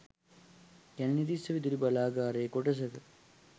කැලණිතිස්ස විදුලි බලාගාරයේ කොටසක